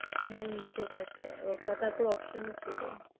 হুম সেটা একটা রক্ষা তারপর option ও ছিল।